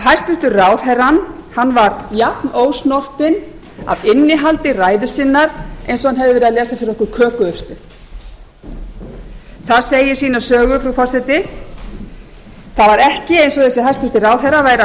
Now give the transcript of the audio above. hæstvirtur ráðherrann var jafnósnortinn af innihaldi ræðu sinnar eins og hann hefði verið að lesa fyrir okkur kökuuppskrift það segir sína sögu frú forseti það var ekki eins og þessi hæstvirtur ráðherra væri að